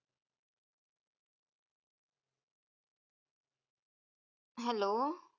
hello